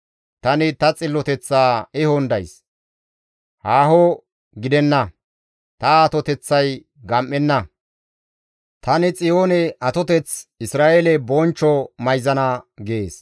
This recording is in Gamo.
Tani ta xilloteththaa ehon days; haaho gidenna. Ta atoteththay gam7enna; tani Xiyoone atoteth. Isra7eele bonchcho mayzana» gees.